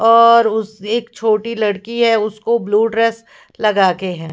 और उसे एक छोटी लड़की है उसको ब्लू ड्रेस लगाके हैं।